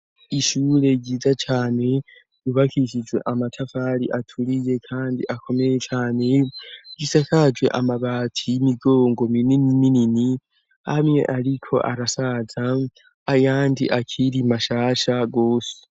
Ishure ryiza cane ryubakishijwe amatafari aturiye kandi akomeye cane, isakajwe amabati y'imigongo minini minini amwe ariko arasaza ayandi akiri mashasha gose.